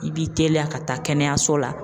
I b'i teliya ka taa kɛnɛyaso la